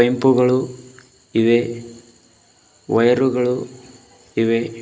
Bulb ಗಳು ಇವೆ ವೈರುಗಳು ಇವೆ.